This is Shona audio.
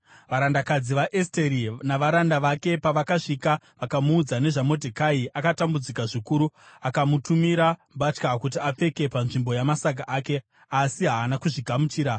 Varandakadzi vaEsteri navaranda vake pavakasvika vakamuudza nezvaModhekai, akatambudzika zvikuru. Akamutumira mbatya kuti apfeke panzvimbo yamasaga ake, asi haana kuzvigamuchira.